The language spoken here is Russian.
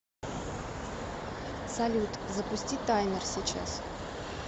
салют запусти таймер сейчас